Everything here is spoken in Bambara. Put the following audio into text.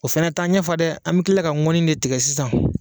O fana t'an ɲɛ fa dɛ, an bɛ tila ka ŋɔni de tigɛ sisan